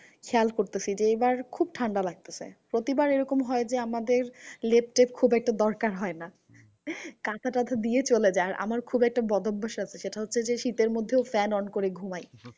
খেয়াল করতেসি যে, এইবার খুব ঠান্ডা লাগতেসে। প্রতিবার এরকম হয় যে, আমাদের লেপ টেপ খুব একটা দরকার হয়না। কাঁথা টাটা দিয়ে চলে যাই আর আমার খুব একটা বদ অভ্যাস আছে। সেটা হচ্ছে যে, শীতের মধ্যেও fan on করে ঘুমাই।